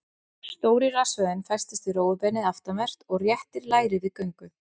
Stóri rassvöðvinn festist við rófubeinið aftanvert og réttir læri við göngu.